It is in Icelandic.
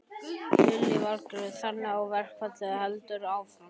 Lillý Valgerður: Þannig að verkfallið heldur áfram?